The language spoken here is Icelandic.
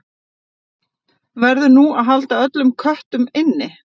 Verður nú að halda öllum köttum inni?